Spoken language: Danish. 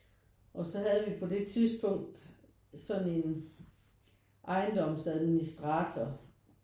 Og så havde vi på det tidspunkt sådan en ejendomsadministrator